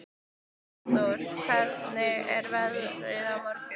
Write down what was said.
Arndór, hvernig er veðrið á morgun?